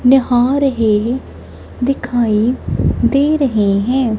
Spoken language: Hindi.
निहा रहे दिखाइ दे रहे है।